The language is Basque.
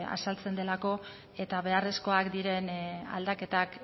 azaltzen delako eta beharrezkoak diren aldaketak